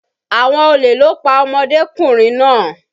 Àwọn olè ló pa ọmọdékùnrin náà.